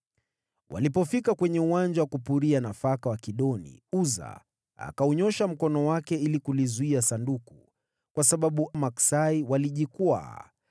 Walipofika kwenye uwanja wa kupuria nafaka wa Kidoni, Uza akaunyoosha mkono wake ili kulizuia Sanduku, kwa sababu maksai walijikwaa.